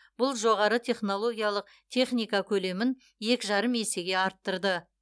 бұл жоғары технологиялық техника көлемін екі жарым есеге арттырды